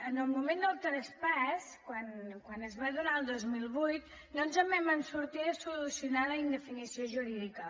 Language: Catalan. en el moment del traspàs quan es va donar el dos mil vuit no ens en vam sortir de solucionar la indefinició jurídica